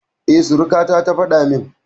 E, surukata ta faɗa min.